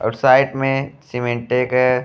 और साइड में समेंटे के --